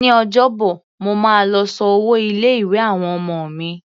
Ní Ọjọ́bọ̀, mo máa lọ san owó ilé-ìwé àwọn ọmọ mi.